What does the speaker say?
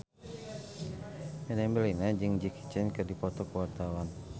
Meriam Bellina jeung Jackie Chan keur dipoto ku wartawan